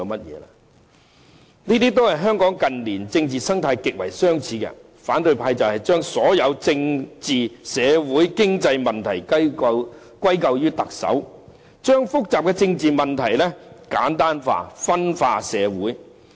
這與香港近年的政治生態極為相似，反對派將所有政治、社會和經濟問題歸咎於特首，將複雜的政治問題簡單化，分化社會。